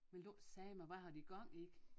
Vil du ikke sige mig hvad har de gang i?